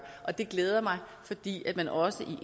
og det glæder mig fordi man også i